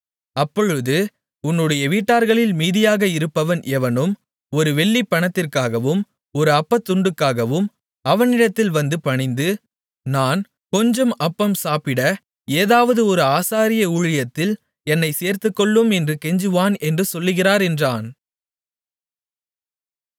அப்பொழுது உன்னுடைய வீட்டார்களில் மீதியாக இருப்பவன் எவனும் ஒரு வெள்ளிப் பணத்திற்காகவும் ஒரு அப்பத்துண்டுக்காகவும் அவனிடத்தில் வந்து பணிந்து நான் கொஞ்சம் அப்பம் சாப்பிட ஏதாவது ஒரு ஆசாரிய ஊழியத்தில் என்னைச் சேர்த்துக்கொள்ளும் என்று கெஞ்சுவான் என்று சொல்கிறார் என்றான்